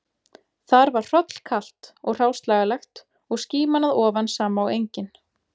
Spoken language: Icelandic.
Þar var hrollkalt og hráslagalegt og skíman að ofan sama og engin